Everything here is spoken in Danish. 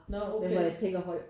Når okay